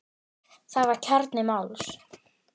Það var kjarni máls.